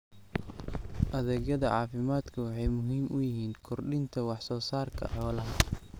Adeegyada caafimaadku waxay muhiim u yihiin kordhinta wax soo saarka xoolaha.